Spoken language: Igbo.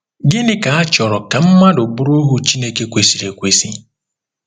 Gịnị ka a chọrọ ka mmadụ bụrụ ohu Chineke kwesịrị ekwesị?